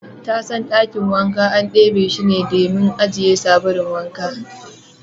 Tasan Dakin wanka an kebe she dimin ajiye sabulun wanka.